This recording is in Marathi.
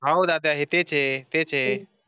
अहो दादा ए तेच ये तेच ये